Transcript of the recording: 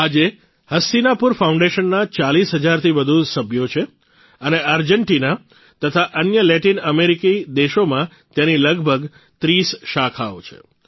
આજે હસ્તિનાપુર ફાઉન્ડેશનના ૪૦ હજારથી વધુ સભ્યો છે અને આર્જેન્ટીના તથા અન્ય લેટિન અમેરિકી દેશોમાં તેની લગભગ ૩૦ શાખાઓ છે